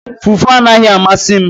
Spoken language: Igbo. Fufu anaghị amasị m